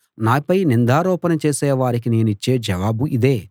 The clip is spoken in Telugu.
నాపై నిందారోపణ చేసే వారికి నేనిచ్చే జవాబు ఇదే